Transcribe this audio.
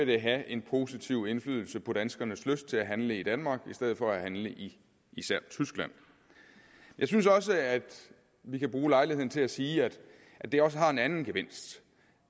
det have en positiv indflydelse på danskernes lyst til at handle i danmark i stedet for til at handle i især tyskland jeg synes også at vi kan bruge lejligheden til at sige at det også har en anden gevinst